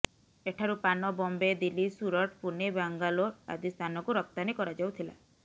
ଏଠାରୁ ପାନ ବମ୍ବେ ଦିଲ୍ଲୀ ସୁରଟ ପୁନେ ବାଙ୍ଗାଲୋର ଆଦି ସ୍ଥାନକୁ ରପ୍ତାନୀ କରାଯାଉଥିଲା